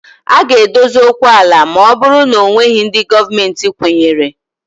A ga-adozi okwu ala ma ọ bụrụ na ọ nweghị ndị Gọọmentị kwụnyere